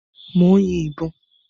Mò ń yin ìbọn.